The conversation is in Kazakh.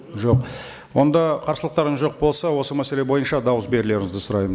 жоқ онда қарсылықтарыңыз жоқ болса осы мәселе бойынша дауыс берулеріңізді сұраймын